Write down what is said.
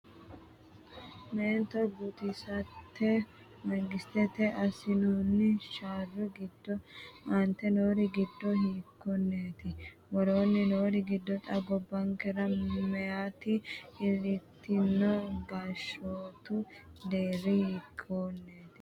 Meento guutisate mangistetenni assinoonni sharro giddo aante noori giddo hiikkonneeti? Woroonni noori giddo xa gobbankera meyaati iillitino gashshootu deerri hiikkonneeti?